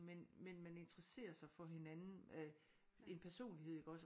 Men men man interesserer sig for hinanden en personlighed iggås